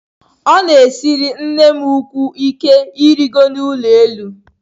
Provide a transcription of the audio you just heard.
Ọ na-esiri nnem ukwuu ike irigo n'ụlọ elu.